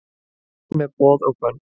Burt með boð og bönn